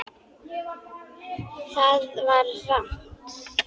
Það var rangt!